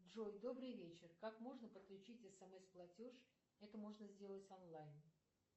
джой добрый вечер как можно подключить смс платеж это можно сделать онлайн